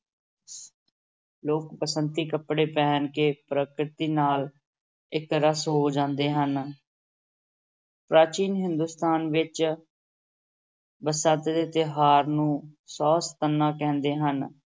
ਲੋਕ ਬਸੰਤੀ ਕੱਪੜੇ ਪਹਿਨਕੇ ਪ੍ਰਕਿਰਤੀ ਨਾਲ ਇੱਕ ਰਸ ਹੋ ਜਾਂਦੇ ਹਨ ਪ੍ਰਾਚੀਨ ਹਿੰਦੁਸਤਾਨ ਵਿਚ ਬਸੰਤ ਦੇ ਤਿਉਹਾਰ ਨੂੰ ਸੁਵ ਸੰਤਨਾ ਕਹਿੰਦੇ ਹਨ,